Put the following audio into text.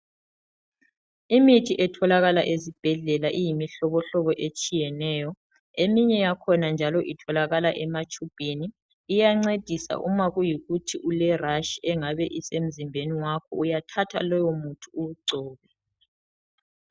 Imithi etholakala ezibhedlela iyimihlobohlobo etshiyeneyo. Eminye yakhona njalo itholakala ematshubhini iyancedisa uma kuyikuthi ulerash engabe isemzimbeni wakho .Uyathatha lowo muthi uwugcobe.